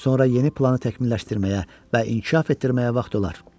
Sonra yeni planı təkmilləşdirməyə və inkişaf etdirməyə vaxt olar.